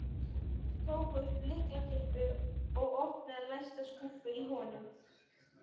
Tók upp lyklakippu og opnaði læsta skúffu í honum.